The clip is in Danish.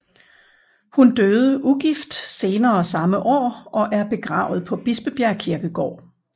Hun døde ugift senere samme år og er begravet på Bispebjerg Kirkegård